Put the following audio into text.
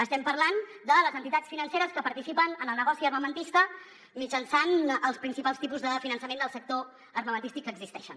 estem parlant de les entitats financeres que participen en el negoci armamentista mitjançant els principals tipus de finançament del sector armamentístic que existeixen